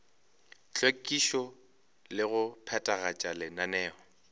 hlwekišo le go phethagatša lenaneo